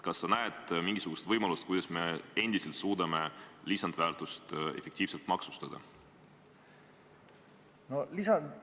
Kas sa näed mingisugust võimalust, kuidas me endiselt suudame lisandväärtust efektiivselt maksustada?